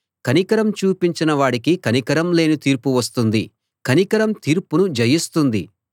కనికరం చూపించని వాడికి కనికరం లేని తీర్పు వస్తుంది కనికరం తీర్పును జయిస్తుంది